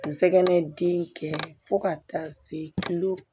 N sɛgɛn den kɛ fo ka taa se